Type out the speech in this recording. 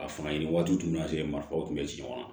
A fanga ɲini waati tun y'a sɔrɔ marifaw tun bɛ ci ɲɔgɔn ma